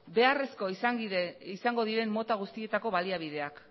beharrezko izango diren mota guztietako baliabideak